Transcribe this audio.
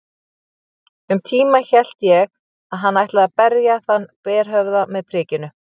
Um tíma hélt ég hann ætlaði að berja þann berhöfðaða með prikinu.